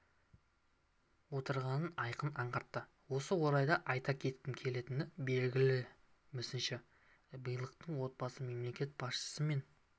отырғанын айқын аңғартады осы орайда айта кеткім келетіні белгілі мүсінші билыктың отбасы мемлекет басшысы мен